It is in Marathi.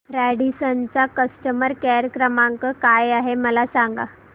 रॅडिसन चा कस्टमर केअर क्रमांक काय आहे मला सांगा